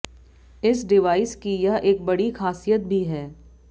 इस डिवाइस की यह एक बड़ी खासियत भी है